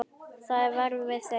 Þá verð ég við þeim.